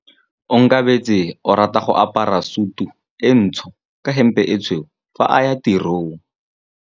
Onkabetse o rata go apara sutu e ntsho ka hempe e tshweu fa a ya tirong.